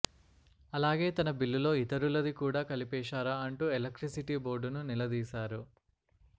అలాగే తన బిల్లులో ఇతరులది కూడా కలిపేశారా అంటూ ఎలక్ట్రిసిటీ బోర్డును నిలదీశారు